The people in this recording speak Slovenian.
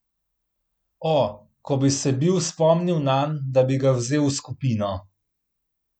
O, ko bi se bil spomnil nanj, da bi ga vzel v skupino!